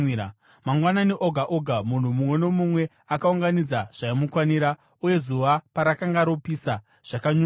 Mangwanani oga oga munhu mumwe nomumwe akaunganidza zvaimukwanira, uye zuva parakanga ropisa, zvakanyungudika.